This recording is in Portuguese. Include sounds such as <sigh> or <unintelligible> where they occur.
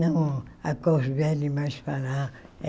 Não, a cor <unintelligible> é mais para lá.